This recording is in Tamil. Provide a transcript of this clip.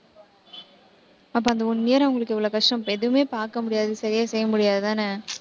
அப்ப, அந்த one year அவங்களுக்கு எவ்வளவு கஷ்டம் எதுவுமே பார்க்க முடியாது. சரியா, செய்ய முடியாதுதானே?